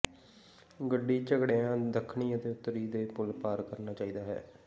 ਗੱਡੀ ਝਗੜਿਆ ਦੱਖਣੀ ਅਤੇ ਉੱਤਰੀ ਦੇ ਪੁਲ ਪਾਰ ਕਰਨਾ ਚਾਹੀਦਾ ਹੈ